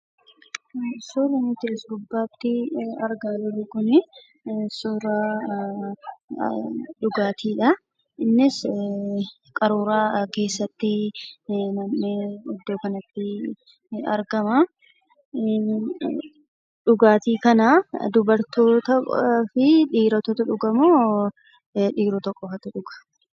Suuraan nuti as gubbaatti argaa jirru kun suuraa dhugaatiidha. Innis qaruuraa keessatti nam'ee iddo kanatti ni argama. Dhugaatii kana dubartootaafi dhiirotatu dhugamoo dhiirota qofatu dhuga?